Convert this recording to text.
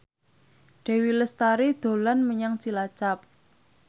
Dewi Lestari dolan menyang Cilacap